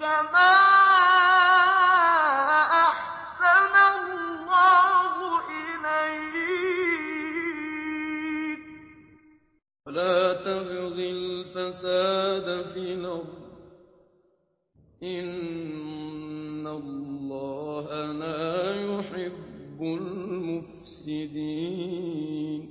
كَمَا أَحْسَنَ اللَّهُ إِلَيْكَ ۖ وَلَا تَبْغِ الْفَسَادَ فِي الْأَرْضِ ۖ إِنَّ اللَّهَ لَا يُحِبُّ الْمُفْسِدِينَ